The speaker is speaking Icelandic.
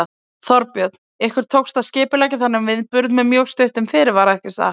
Þorbjörn: Ykkur tókst að skipuleggja þennan viðburð með mjög stuttum fyrirvara ekki satt?